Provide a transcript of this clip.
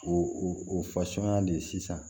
O o de sisan